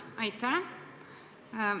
Aitäh!